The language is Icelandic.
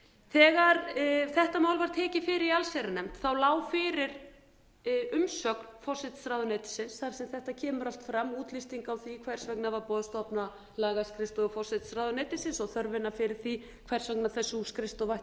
þegar þetta mál var tekið fyrir í allsherjarnefnd lá fyrir umsögn forsætisráðuneytisins þar sem þetta kemur allt fram útlisting á því hvers vegna var búið að stofna lagaskrifstofu forsætisráðuneytisins og þörfina fyrir því hvers vegna sú